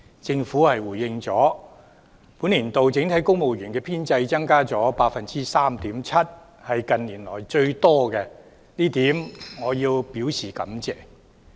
政府回應指本年度整體公務員的編制增加 3.7%， 是近年來最多，這點我表示感謝。